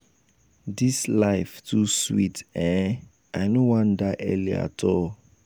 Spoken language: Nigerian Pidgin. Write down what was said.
dis life too um sweet um i no wan die early at all.